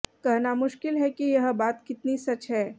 कहना मुश्किल है कि यह बातकितनी सच है